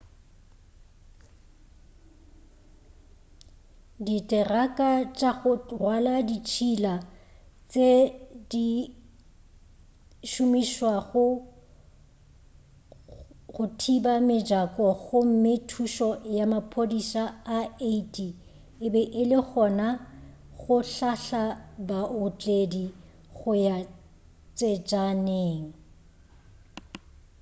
ditheraka tša go rwala ditšhila di be di šomišwa go thiba mejako gomme thušo ya maphodisa a 80 e be e le gona go hlahla baotledi go ya tsejaneng